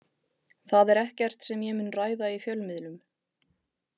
Það er ekkert sem ég mun ræða í fjölmiðlum.